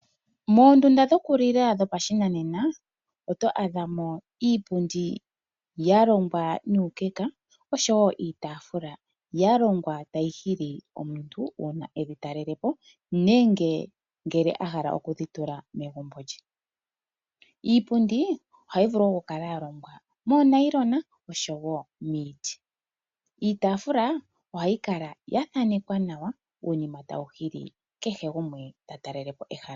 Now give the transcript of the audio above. Moondunda dhokulila dhopashinanena oto adhamo iipundi ya longwa nuukeka oshowo iitafula ya longwa nuukeka tayi hili omuntu omuntu uuna eli talelepo nenge ngele a hala okudhitula negumbo lye. Iipundi ohayi vulu oku kala yalongwa moonayilona nenge miiti. Iitafula ohayi kala ya thanekwa uunima uuwanawa tawu hili kehe gumwe ta talelepo ehala.